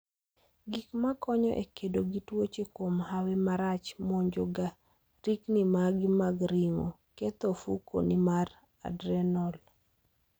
Gik ma konyo e kedo gi tuoche kuom hawi marach monjo ga rikni magi mag ring'o , ketho ofuko ni mar adrenal